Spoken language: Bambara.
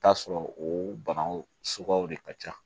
Taa sɔrɔ o bagan suguyaw de ka ca